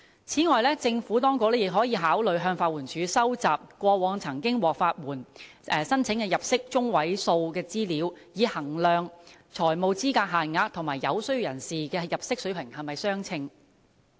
此外，政府當局也可考慮向法援署收集過往曾經獲批法援申請的人士的入息中位數資料，以衡量財務資格限額和有需要人士的入息水平是否相稱。